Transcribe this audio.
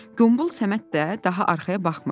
Qombul Səməd də daha arxaya baxmırdı.